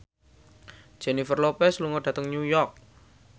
Jennifer Lopez lunga dhateng New York